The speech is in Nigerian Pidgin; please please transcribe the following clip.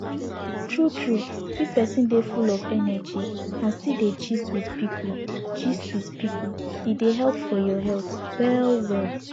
true true if person dey full of energy and still dey gist with people gist with people e dey help your health well well